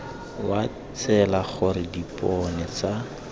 wa tsela gore dipone tsa